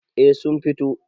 eh sun fito